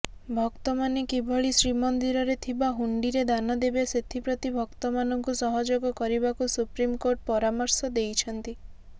ଭକ୍ତମାନେ କିଭଳି ଶ୍ରୀମନ୍ଦିରରେ ଥିବା ହୁଣ୍ଡିରେ ଦାନ ଦେବେ ସେଥିପ୍ରତି ଭକ୍ତମାନଙ୍କୁ ସହଯୋଗ କରିବାକୁ ସୁପ୍ରିମକୋର୍ଟ ପରାମର୍ଶ ଦେଇଛନ୍ତି